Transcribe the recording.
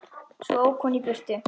Svo ók hún í burtu.